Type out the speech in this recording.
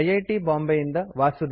ಬಾಂಬೆ ಇಂದ ವಾಸುದೇವ